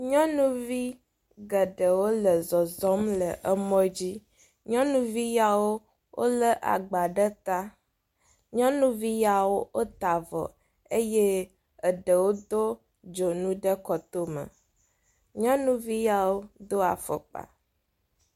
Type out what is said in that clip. Nyɔnuvi geɖewo le zɔzɔ̃m le mɔ dzi. Nyɔnuviawo lé agba ɖe ta. Nyɔnuvi yawo ta avɔ ɖe ta eye eɖewo do dzonu ɖe kɔtome. Nyɔnuvi yawo do afɔkpa.